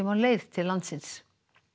á leið til landsins